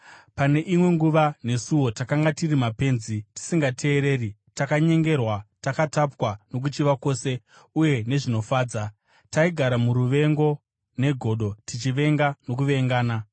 Pane imwe nguva nesuwo takanga tiri mapenzi, tisingateereri, takanyengerwa, takatapwa nokuchiva kwose uye nezvinofadza. Taigara muruvengo negodo, tichivengwa nokuvengana.